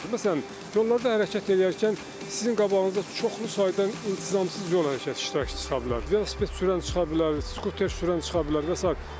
Məsələn, yollarda hərəkət eləyərkən sizin qabağınıza çoxlu sayda intizamsız yol hərəkət iştirakçısı çıxa bilər, velosiped sürən çıxa bilər, skuter sürən çıxa bilər və sair.